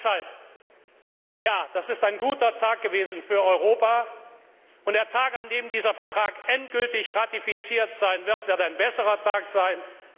Deshalb Ja, das war ein guter Tag für Europa, und der Tag, an dem dieser Vertrag endgültig ratifiziert sein wird, wird ein noch besserer Tag sein.